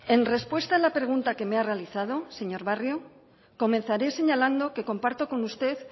en respuesta a la pregunta que me ha realizado señor barrio comenzaré señalando que comparto con usted